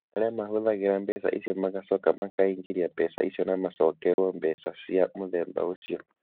Arĩa mahũthagĩra mbeca icio magacoka makaingĩria mbeca icio na macokerũo mbeca cia mũthemba ũcio.